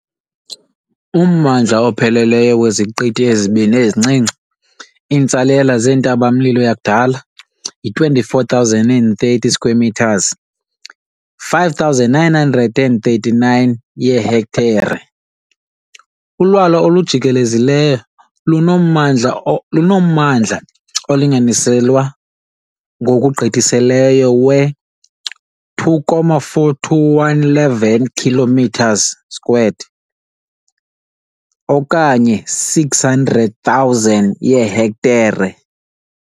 Ummandla opheleleyo weziqithi ezibini ezincinci, iintsalela zentaba-mlilo yakudala, yi-24,030 square metres, 5,939 yeehektare. Ulwalwa olujikelezileyo lunommandla lunommandla, olinganiselwa ngokugqithisileyo, we-2.42811 kilometres squared okanye 600,000 yeehektare.